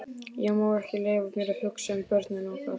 Ég má ekki leyfa mér að hugsa um börnin okkar.